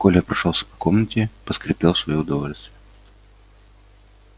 коля прошёлся по комнате поскрипел в своё удовольствие